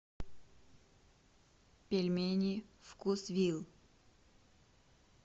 пельмени вкусвилл